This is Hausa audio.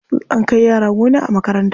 An kai yara gona a makaranta.